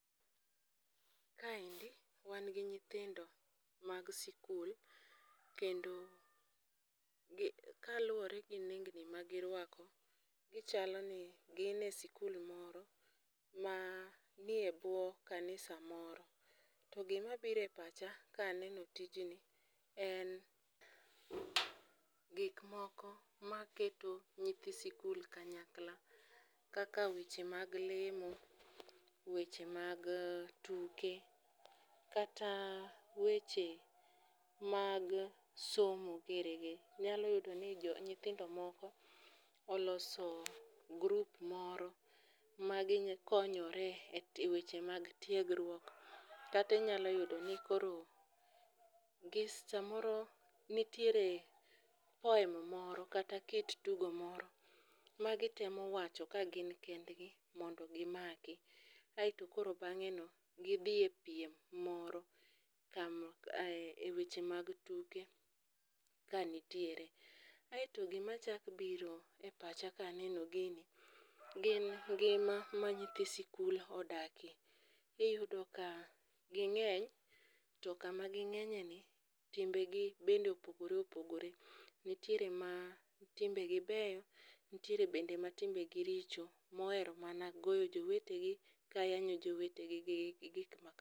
Kaendi wan gi nyithindo mag sikul kendo kaluwore gi nengni magirwako, gichaloni gin e sikul moro manie bwo kanisa moro. To gimabiro e pacha kaneno tijni en gikmoko maketo nyithi sikul kanyakla kaka weche mag lemo, weche mag tuke kata weche mag somo girigi, inyalo yudo ni nyithindo moko oloso group moro magikonyore e weche mag tiegruok, kata inyalo yudo ni koro samoro nitiere poem moro kata kit tugo moro magitemo wacho ka gin kendgi mondo gimaki, aeto koro bang'eno gidhi e piem moro e weche mag tuke ka nitiere. Aeto gimachako biro e pacha kaneno gini, gin ngima ma nyithi sikul odakie, iyudo ka ging'eny to kama ging'enyeni, timbegi bende opogore opogore. Nitiere ma timbegi beyo, nitiere bende matimbegi richo mohero mana goyo jowetegi ka yanyo jowetegi gi gik makamago.